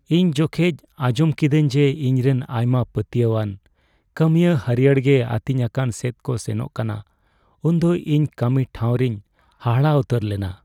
ᱤᱧ ᱡᱚᱠᱷᱮᱡ ᱟᱸᱡᱚᱢ ᱠᱤᱫᱟᱹᱧ ᱡᱮ ᱤᱧ ᱨᱮᱱ ᱟᱭᱢᱟ ᱯᱟᱹᱛᱭᱟᱣ ᱟᱱ ᱠᱟᱹᱢᱤᱭᱟᱹ ᱦᱟᱹᱨᱭᱟᱹᱲ ᱜᱮ ᱟᱹᱛᱤᱧᱟᱠᱟᱱ ᱥᱮᱫ ᱠᱚ ᱥᱮᱱᱚᱜ ᱠᱟᱱᱟ ᱩᱱ ᱫᱚ ᱤᱧ ᱠᱟᱹᱢᱤ ᱴᱷᱟᱶᱨᱤᱧ ᱦᱟᱦᱟᱲᱟᱜ ᱩᱛᱟᱹᱨ ᱞᱮᱱᱟ ᱾